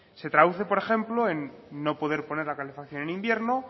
se traduce por ejemplo en no poder poner la calefacción en invierno